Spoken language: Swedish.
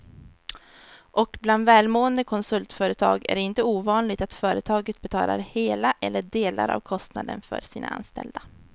Och bland välmående konsultföretag är det inte ovanligt att företaget betalar hela eller delar av kostnaden för sina anställda.